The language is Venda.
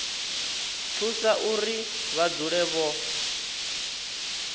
thusa uri vha dzule vho